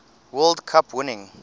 world cup winning